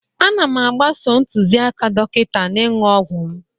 Ana m agbaso ntụziaka dọkịta n'ịṅụ ọgwụ m